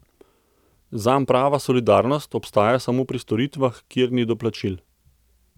Zanj prava solidarnost obstaja samo pri storitvah, kjer ni doplačil.